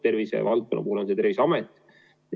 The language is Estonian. Tervisevaldkonna puhul on see Terviseamet.